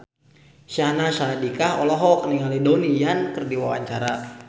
Syahnaz Sadiqah olohok ningali Donnie Yan keur diwawancara